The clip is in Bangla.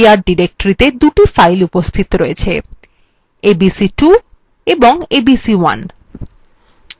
testdir directory the দুটি files উপস্থিত রয়েছে abc2 এবং abc1